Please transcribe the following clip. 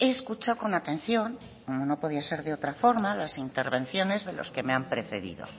escuchado con atención como no podía ser otra forma las intervenciones de los que me han precedido